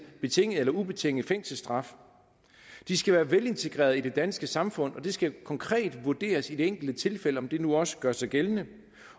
betinget eller ubetinget fængselsstraf de skal være velintegrerede i det danske samfund og det skal konkret vurderes i det enkelte tilfælde om det nu også gør sig gældende